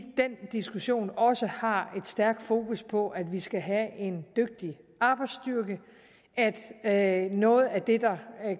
den diskussion også har et stærkt fokus på at vi skal have en dygtig arbejdsstyrke at noget af det der